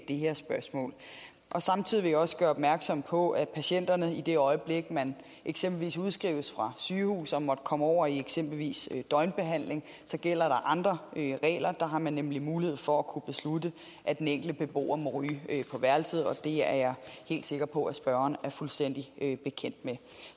det her spørgsmål samtidig vil jeg også gøre opmærksom på at patienterne i det øjeblik man eksempelvis udskrives fra sygehus og måtte komme over i eksempelvis døgnbehandling gælder andre regler der har man nemlig mulighed for at kunne beslutte at den enkelte beboer må ryge på værelset og det er jeg helt sikker på at spørgeren er fuldstændig bekendt med